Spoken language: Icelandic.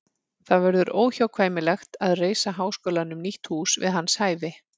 Það verður óhjákvæmilegt að reisa háskólanum nýtt hús við hans hæfi.